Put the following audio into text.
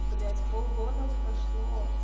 блять полгода прошло